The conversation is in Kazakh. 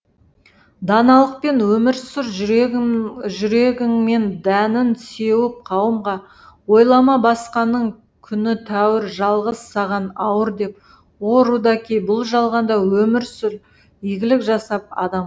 даналықпен өмір сүр жүрегіңмен дәнін сеуіп қауымға ойлама басқаның күні тәуір жалғыз саған ауыр деп о рудаки бұл жалғанда өмір сүр игілік жасап адам